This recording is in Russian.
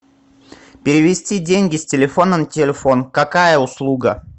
перевести деньги с телефона на телефон какая услуга